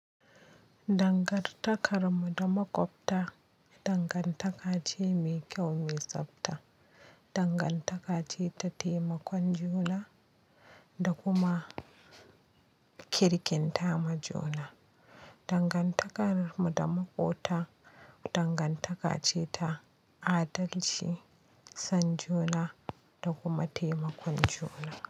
Dangantakar mutum da makwabta, dangantaka ce mai kyau, mai tsabta, dangantaka ce ta taimakon juna da kuma kirkinta ma juna. Dangantakar mu da makwabta, dangantaka ce ta adalci, son juna da kuma taimakon juna.